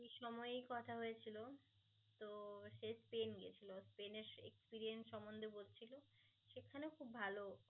তো সেই সময়ই কথা হয়েছিল তো সে স্পেন গেছিল স্পেনের experience সমন্ধে বলছিল সেখানেও খুব ভাল